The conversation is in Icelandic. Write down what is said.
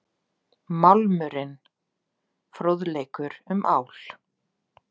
Málmurinn- Fróðleikur um ál.